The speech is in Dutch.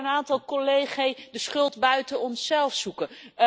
Ik hoorde een aantal collegae de schuld buiten onszelf zoeken.